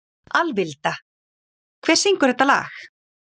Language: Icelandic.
Alvilda, hver syngur þetta lag?